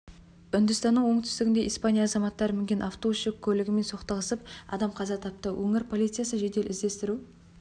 үндістанның оңтүстігінде испания азаматтары мінген автобус жүк көлігімен соғысып адам қаза тапты өңір полициясы жедел іздестіру